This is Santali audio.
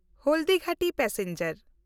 ᱦᱚᱞᱫᱤᱜᱷᱟᱴᱤ ᱯᱮᱥᱮᱧᱡᱟᱨ